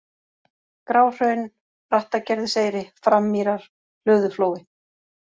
Gráhraun, Brattagerðiseyri, Frammýrar, Hlöðuflói